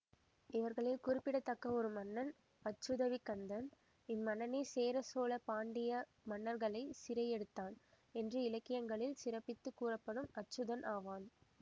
இவர்களில் குறிப்பிடத்தக்க ஒரு மன்னன் அச்சுதவிக்கந்தன் இம்மன்னனே சேர சோழ பாண்டிய மன்னர்களைச் சிறையெடுத்தான் என்று இலக்கியங்களில் சிறப்பித்துக் கூறப்படும் அச்சுதன் ஆவான்